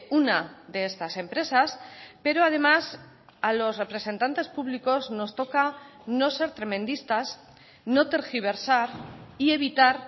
una de estas empresas pero además a los representantes públicos nos toca no ser tremendistas no tergiversar y evitar